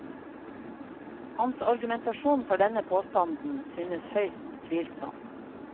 Hans argumentasjon for denne påstanden synes høyst tvilsom.